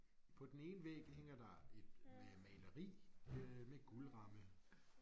På den ene væg hænger der et maleri øh med guldramme